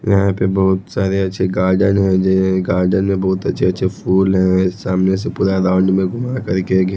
यहाँ पे बहुत सारे अच्छे गार्डन है गार्डन मे बहुत अच्छे अच्छे फूल हैं सामने से पूरा राउंड मे घुमा करके--